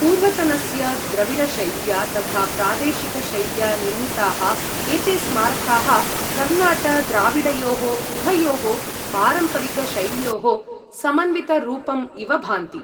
पूर्वतनस्य द्रविडशैल्या तथा प्रादेशिक शैल्या निर्मिताः एते स्मारकाः कर्णाट द्राविडयोः उभयोः पारम्परिक शैल्योः समन्वितरूपम् इव भान्ति।